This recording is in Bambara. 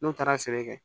N'u taara sɛnɛ kɛ